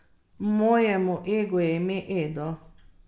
Mojemu egu je ime Edo.